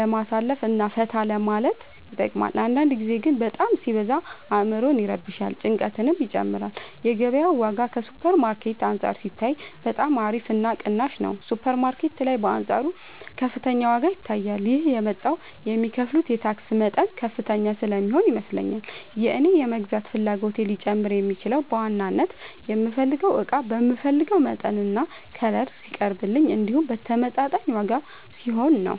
ለማሳለፍ እና ፈታ ለማለት ይጠቅማል አንዳንድ ጊዜ ግን በጣም ሲበዛ አዕምሮን ይረብሻል ጭንቀትንም ይጨምራል የገበያው ዋጋ ከሱፐር ማርኬት አንፃር ሲታይ በጣም አሪፍ እና ቅናሽ ነው ሱፐር ማርኬት ላይ በአንፃሩ ከፍተኛ ዋጋ ይታያል ይህም የመጣው የሚከፍሉት የታክስ መጠን ከፍተኛ ስለሚሆን ይመስለኛል የእኔ የመግዛት ፍላጎቴ ሊጨምር የሚችለው በዋናነት የምፈልገው እቃ በምፈልገው መጠንና ከለር ሲቀርብልኝ እንዲሁም በተመጣጣኝ ዋጋ ሲሆን ነው።